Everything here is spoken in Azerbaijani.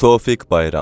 Tofiq Bayram.